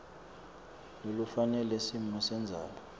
lolufanele simo sendzaba